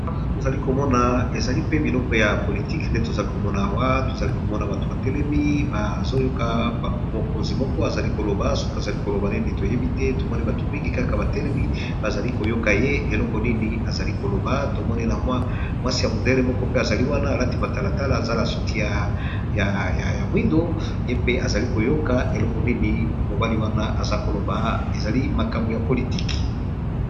awa tozali komona ezali mpe biloko ya politiki nde tozali komona awa tozali komona bato batelemi bazoyoka mokonzi moko azali koloba suki azali koloba nini toyebi te tomone bato mingi kaka batelemi bazali koyoka ye eloko nini azali koloba tomone na mwasi ya mondele moko pe azali wana alati matalatala zala suki ya mwindo ye mpe azali koyoka eloko nini mobali wana aza koloba ezali makambo ya politiki